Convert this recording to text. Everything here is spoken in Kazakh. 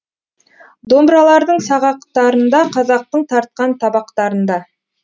домбыралардың сағақтарында қазақтың тартқан табақтарында